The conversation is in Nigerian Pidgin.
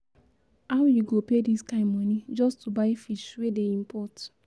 How you go pay this kin money just to buy fish wey dey import